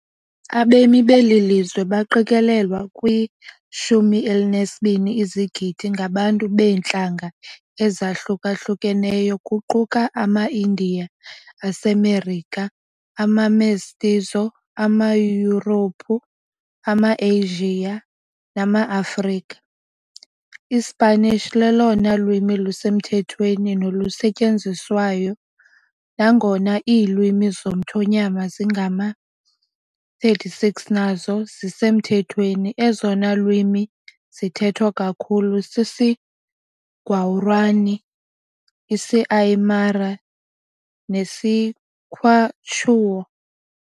Abemi beli lizwe, baqikelelwa kwi-12 izigidi, ngabantu beentlanga ezahlukahlukeneyo, kuquka amaIndiya aseMerika, amaMestizo, amaYurophu, amaAsia namaAfrika. ISpanish lolona lwimi lusemthethweni nolusetyenziswayo, nangona iilwimi zomthonyama ezingama-36 nazo zisemthethweni, ezona lwimi zithethwa kakhulu sisiGuarani, isiAymara nesiQuechua.